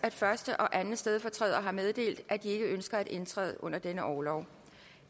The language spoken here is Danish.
at første og anden stedfortræder har meddelt at de ikke ønsker at indtræde under denne orlov